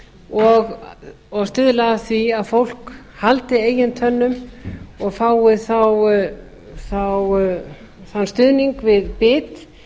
og stuðla að því að fólk haldi eigin tönnum og fái þá þann stuðning við bit